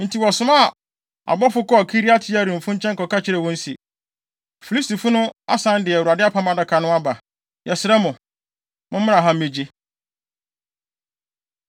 Enti wɔsomaa abɔfo kɔɔ Kiriat-Yearimfo nkyɛn kɔka kyerɛɛ wɔn se, “Filistifo no asan de Awurade Apam Adaka no aba. Yɛsrɛ mo, mommra ha mmegye!”